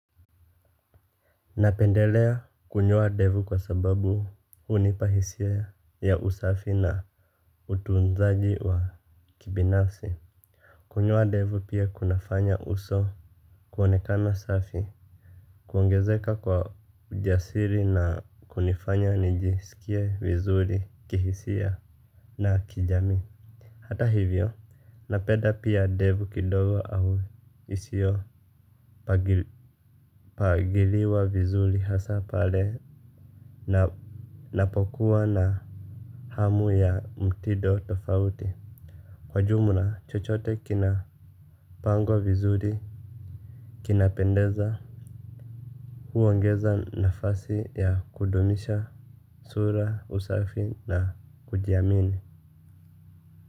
Napendelea kunyoa ndevu kwa sababu hunipa hisia ya usafi na utunzaji wa kibinasi. Kunyoa ndevu pia kunafanya uso kuonekana safi. Kuongezeka kwa ujasiri na kunifanya nijisikie vizuri kihisia na kijamii. Hata hivyo napenda pia ndevu kidogo au isio pagiliwa vizuri hasa pale na napokuwa na hamu ya mtido tofauti. Kwa jumla chochote kinapangwa vizuri kinapendeza. Huongeza nafasi ya kudumisha sura usafi na kujiamini.